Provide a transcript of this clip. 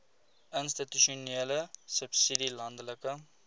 institusionele subsidie landelike